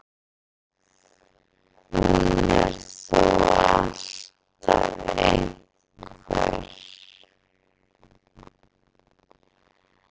Hún er þó alltaf einhver.